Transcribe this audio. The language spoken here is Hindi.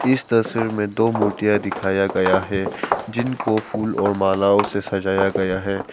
इस तस्वीर में दो मूर्तियां दिखाया गया है जिनको फूल और मालओ से सजाया गया है।